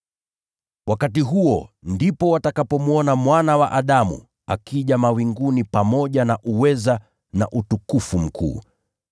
Wakati huo ndipo watakapomwona Mwana wa Adamu akija mawinguni pamoja na uweza na utukufu mkuu.